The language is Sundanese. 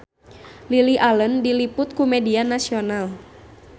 Lily Allen diliput ku media nasional